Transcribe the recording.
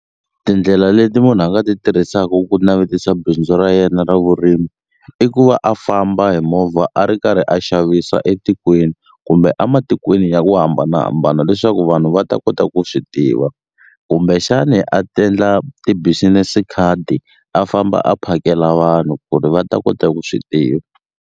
Tindlela leti munhu a nga ti tirhisaku ku navetisa bindzu ra yena ra vurimi i ku va a famba hi movha a ri karhi a xavisa etikweni kumbe a matikweni ya ku hambanahambana leswaku vanhu va ta kota ku swi tiva kumbexani a ti-business card a famba a phakela vanhu ku ri va ta kota ku swi tiva.